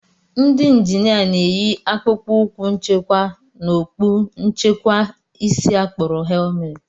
Ndị njinia na-eyi akpụkpọ ụkwụ nchekwa na okpu nchekwa isi a kpọrọ helmet